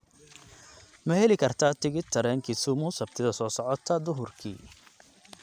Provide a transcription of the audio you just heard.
ma heli karaa tigidh tareen kisumu sabtida soo socota duhurkii